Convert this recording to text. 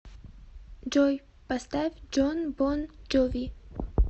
джой поставь джон бон джови